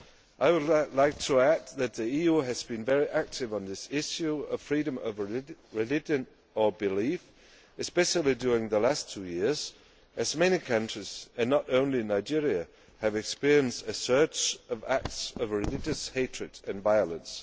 I would like to add that the EU has been very active on the issue of freedom of religion or belief, especially during the last two years, as many countries not only Nigeria have experienced a surge of acts of religious hatred and violence.